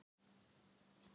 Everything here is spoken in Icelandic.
bæði og bara